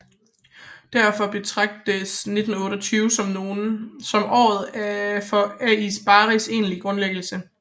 Derfor betragtes 1928 af nogle som året for AS Baris egentlige grundlæggelse